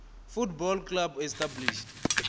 football clubs established